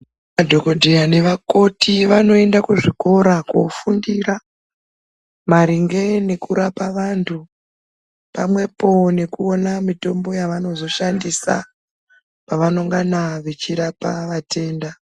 Madhokodheya nemakoti vanoenda kuzvikora kofundira maringe nekurapa antu pamwepo nekuona mutombo yavanozoshandisa pavanongana vachirapa vatenda.